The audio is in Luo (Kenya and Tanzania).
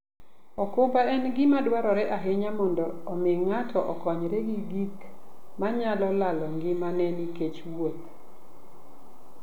okumba en gima dwarore ahinya mondo omi ng'ato okonyre gi gik manyalo lalo ngimane nikech wuoth.